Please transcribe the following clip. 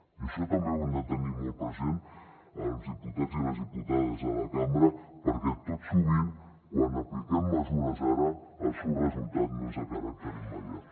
i això també ho hem de tenir molt present els diputats i les diputades de la cambra perquè tot sovint quan apliquem mesures ara el seu resultat no és de caràcter immediat